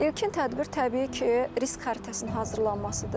İlkin tədbir təbii ki, risk xəritəsinin hazırlanmasıdır.